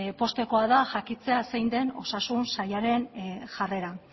poztekoa da jakitea zein den osasun sailaren jarrera